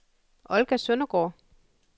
Olga Søndergaard